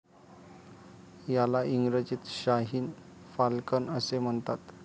याला इंग्रजीत शाहीन फाल्कन असे म्हणतात.